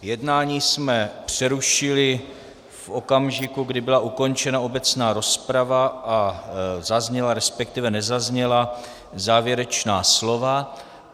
Jednání jsme přerušili v okamžiku, kdy byla ukončena obecná rozprava a zazněla, respektive nezazněla, závěrečná slova.